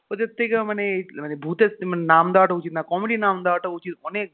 ওদের থেকে মানে ভুতের নাম দেওয়াটা উচিত না comedy নাম দেওয়াটা উচিৎ অনেক